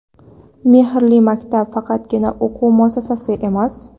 "Mehrli maktab" – faqatgina o‘quv muassasasi emas.